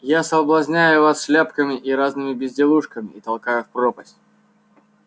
я соблазняю вас шляпками и разными безделушками и толкаю в пропасть